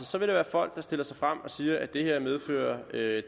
så vil være folk der stiller sig frem og siger at det her vil medføre